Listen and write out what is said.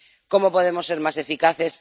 ¿Cómo podemos ser más eficaces?